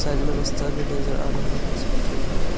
Side में रस्ता भी नजर आ रहा है इस पिक्चर में हमें।